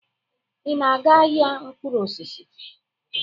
Ị na-aga ahịa mkpụrụ osisi?